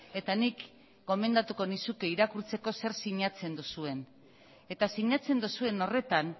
eta nik gomendatuko nizuke irakurtzeko zer sinatzen duzuen eta sinatzen duzuen horretan